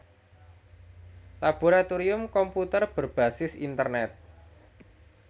Laboratorium Komputer berbasis Internet